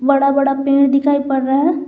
बड़ा बड़ा पेड़ दिखाई पड़ रहा है।